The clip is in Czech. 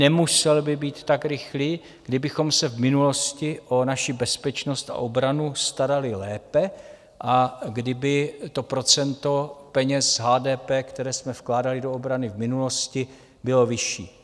Nemusel by být tak rychlý, kdybychom se v minulosti o naši bezpečnost a obranu starali lépe a kdyby to procento peněz HDP, které jsme vkládali do obrany v minulosti, bylo vyšší.